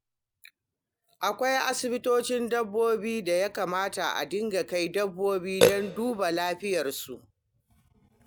Akwai asibitocin dabbobi da ya kamata a dinga kai dabbobi don duba lafiyarsu.